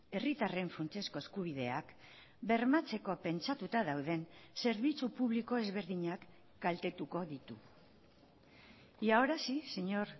herritarren funtsezko eskubideak bermatzeko pentsatuta dauden zerbitzu publiko ezberdinak kaltetuko ditu y ahora sí señor